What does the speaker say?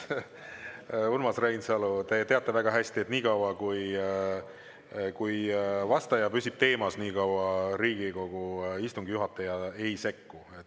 Urmas Reinsalu, te teate väga hästi, et nii kaua, kui vastaja püsib teemas, Riigikogu istungi juhataja ei sekku.